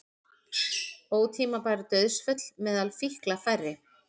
Ótímabær dauðsföll meðal fíkla færri